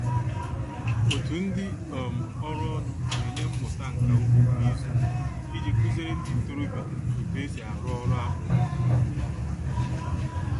Otu ndị um ọrụ ọnụ na-enye mmụta nka ugbo kwa izu iji kụziere ndị ntorobịa otu e si arụ ọrụ akpụ um